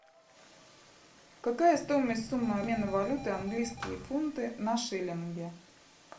какая стоимость суммы обмена валюты английские фунты на шиллинги